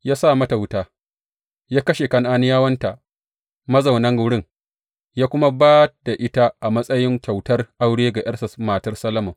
Ya sa mata wuta, ya kashe Kan’aniyawanta mazaunan wurin, ya kuma ba da ita a matsayin kyautar aure ga ’yarsa, matar Solomon.